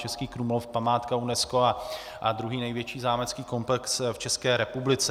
Český Krumlov, památka UNESCO a druhý největší zámecký komplex v České republice.